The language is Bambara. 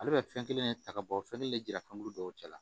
Ale bɛ fɛn kelen ta ka bɔ fɛn kelen de jira fɛnkuma dɔw cɛ la